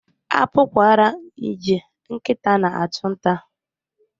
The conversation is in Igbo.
A pụkwara iji nkịta na-achụ nta.